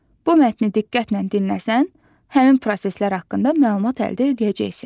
Bu mətni diqqətlə dinləsən, həmin proseslər haqqında məlumat əldə edəcəksən.